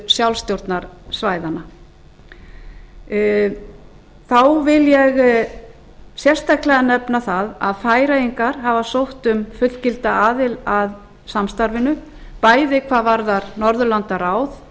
um stöðu sjálfstjórnarsvæðanna þá vil ég sérstaklega nefna það að færeyingar hafa sótt um fullgilda aðild að samstarfinu bæði hvað varðar norðurlandaráð